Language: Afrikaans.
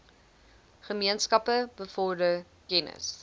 gemeenskappe bevorder kennis